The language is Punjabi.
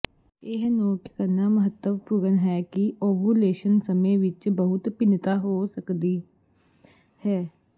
ਇਹ ਨੋਟ ਕਰਨਾ ਮਹੱਤਵਪੂਰਨ ਹੈ ਕਿ ਓਵੂਲੇਸ਼ਨ ਸਮੇਂ ਵਿੱਚ ਬਹੁਤ ਭਿੰਨਤਾ ਹੋ ਸਕਦੀ ਹੈ